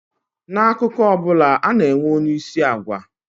N'akụkọ ọ bụla, ana-enwe onyeisi agwa